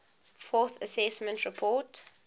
fourth assessment report